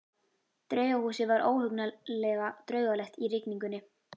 Draugahúsið var óhugnanlega draugalegt í rigningunni.